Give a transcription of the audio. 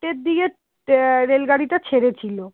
দিয়ে আহ rail গাড়িটা ছেড়ে ছিল